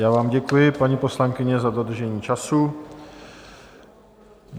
Já vám děkuji, paní poslankyně, za dodržení času.